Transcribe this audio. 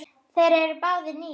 Þeir eru báðir níu.